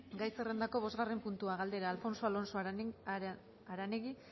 gai zerrendako bosgarren puntua galdera alfonso alonso aranegui